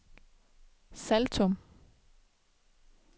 Saltum